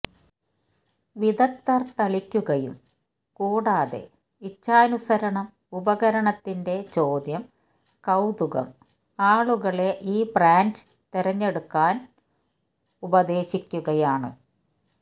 വിദഗ്ധർ തളിക്കുകയും കൂടാതെ ഇച്ഛാനുസരണം ഉപകരണത്തിന്റെ ചോദ്യം കൌതുകം ആളുകളെ ഈ ബ്രാൻഡ് തിരഞ്ഞെടുക്കാൻ ഉപദേശിക്കുകയാണ്